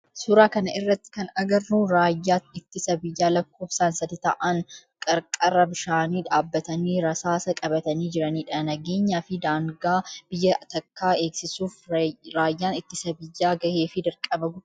Suuraa kana irratti kan agarru raayyaa ittisa biyyaa lakkoofsan sadi ta'aan qarqara bishaanii dhaabbatanii rasaasa qabatanii jiranidha. Nageenyaa fi daangaa biyya takkaa eegsiisuf raayyaan ittisa biyyaa gahee fi dirqama guddaa kan qabudha.